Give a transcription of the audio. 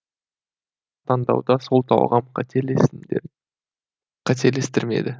таңдауда сол талғам қателестірмеді